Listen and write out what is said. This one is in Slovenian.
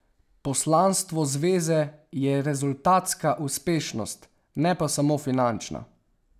Poslanstvo zveze je rezultatska uspešnost, ne pa samo finančna.